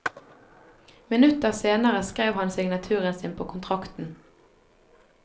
Minutter senere skrev han signaturen sin på kontrakten.